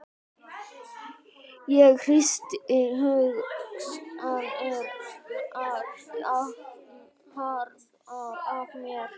Ég hristi hugsanirnar jafnharðan af mér.